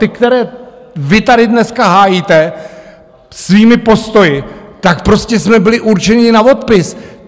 Ty, které vy tady dneska hájíte svými postoji, tak prostě jsme byli určeni na odpis.